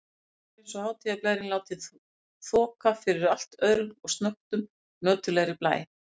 Miðbæjarins og hátíðarblærinn látinn þoka fyrir allt öðrum og snöggtum nöturlegri blæ.